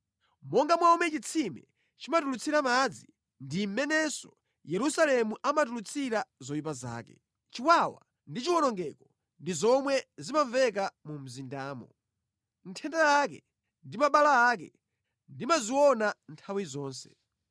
Monga momwe chitsime chimatulutsira madzi ndi mmenenso Yerusalemu amatulutsira zoyipa zake. Chiwawa ndi chiwonongeko ndi zomwe zimamveka mu mzindamo; nthenda yake ndi mabala ake ndimaziona nthawi zonse.